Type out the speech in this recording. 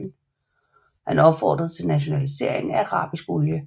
Han opfordrede til nationalisering af arabisk olie